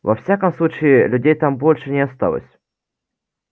во всяком случае людей там больше не осталось